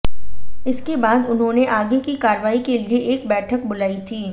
इसके बाद उन्होंने आगे की कार्रवाई के लिए एक बैठक बुलाई थी